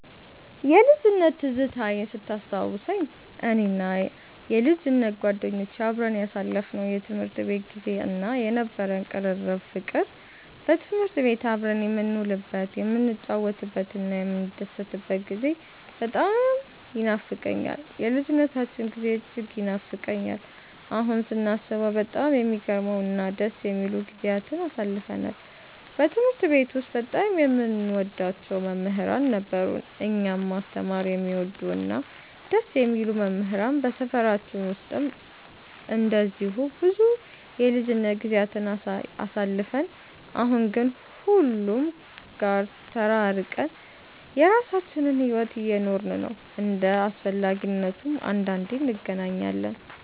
የልጅነት ትዝታዬን ስታስታውሰኝ፣ እኔና የልጅነት ጓደኞቼ አብረን ያሳለፍነው የትምህርት ቤት ጊዜ እና የነበረን ቅርርብ ፍቅር፣ በትምህርት ቤት አብረን የምንውልበት፣ የምንጫወትበትና የምንደሰትበት ጊዜ በጣም ይኖፋቀኛል። የልጅነታችን ጊዜ እጅግ ይናፍቀኛል። አሁን ስናስበው በጣም የሚገርሙ እና ደስ የሚሉ ጊዜያትን አሳልፈናል። በትምህርት ቤት ውስጥ በጣም የምንወዳቸው መምህራን ነበሩን፤ እኛን ማስተማር የሚወዱ እና ደስ የሚሉ መምህራን። በሰፈራችን ውስጥም እንደዚሁ ብዙ የልጅነት ጊዜያትን አሳልፈን፣ አሁን ግን ሁሉም ጋር ተራርቀን የራሳችንን ሕይወት እየኖርን ነው። እንደ አስፈላጊነቱም አንዳንዴ እንገናኛለን።